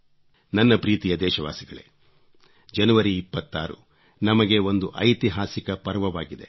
ನನ್ನ ಪ್ರೀತಿಯ ದೇಶವಾಸಿಗಳೇ ಜನವರಿ 26 ನಮಗೆ ಒಂದು ಐತಿಹಾಸಿಕ ಪರ್ವವಾಗಿದೆ